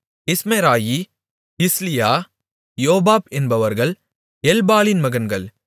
Ishmerai Jezliah Jobab என்பவர்கள் எல்பாலின் மகன்கள்